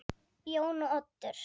Jón og Oddur.